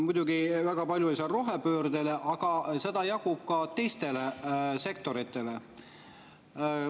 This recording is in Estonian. Muidugi, väga palju oli seal rohepöördeks, aga seda jagub ka teistele sektoritele.